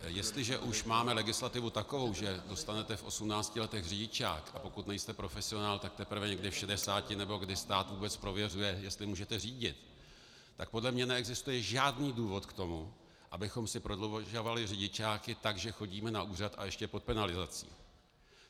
Jestliže už máme legislativu takovou, že dostanete v 18 letech řidičák, a pokud nejste profesionál, tak teprve někdy v 60 nebo kdy stát vůbec prověřuje, jestli můžete řídit, tak podle mě neexistuje žádný důvod k tomu, abychom si prodlužovali řidičáky tak, že chodíme na úřad, a ještě pod penalizací.